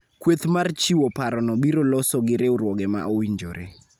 Kweth mar chiwo parono biro loso gi riwruoge ma owinjore